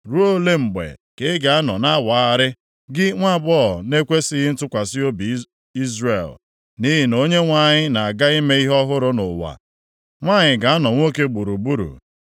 Ruo ole mgbe ka ị ga-anọ na-awagharị, gị nwaagbọghọ na-ekwesighị ntụkwasị obi Izrel? Nʼihi na Onyenwe anyị na-aga ime ihe ọhụrụ nʼụwa; nwanyị ga-anọ nwoke gburugburu.”